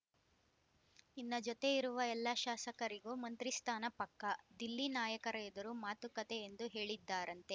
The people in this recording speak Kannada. ನಿನ್ನ ಜೊತೆ ಇರುವ ಎಲ್ಲ ಶಾಸಕರಿಗೂ ಮಂತ್ರಿಸ್ಥಾನ ಪಕ್ಕಾ ದಿಲ್ಲಿ ನಾಯಕರ ಎದುರು ಮಾತುಕತೆ ಎಂದು ಹೇಳಿದ್ದಾರಂತೆ